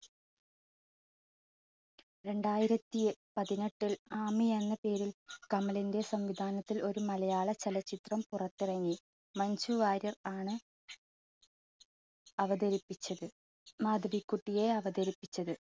രണ്ടായിരത്തി പതിനെട്ടിൽ ആമി എന്ന പേരിൽ കമലിന്റെ സംവിധാനത്തിൽ ഒരു മലയാള ചലച്ചിത്രം പുറത്തിറങ്ങി മഞ്ജു വാര്യർ ആണ് അവതരിപ്പിച്ചത്, മാധവിക്കുട്ടിയെ അവതരിപ്പിച്ചത്.